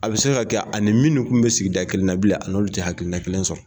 A bɛ se ka kɛ a ni minnu kun bɛ sigi da kelen na bilen a n'o tɛ hakili na kelen sɔrɔ.